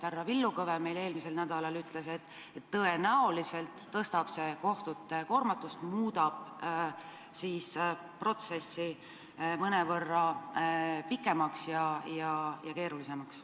Härra Villu Kõve meile eelmisel nädalal ütles, et tõenäoliselt suurendab see kohtute koormatust ning muudab protsessi mõnevõrra pikemaks ja keerulisemaks.